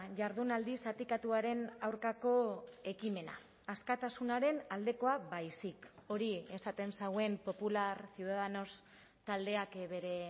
jardunaldi zatikatuaren aurkako ekimena askatasunaren aldekoa baizik hori esaten zuen popular ciudadanos taldeak bere